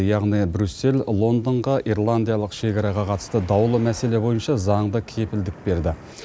яғни брюссель лондонға ирландиялық шекараға қатысты даулы мәселе бойынша заңды кепілдік берді